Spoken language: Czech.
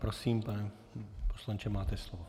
Prosím, pane poslanče, máte slovo.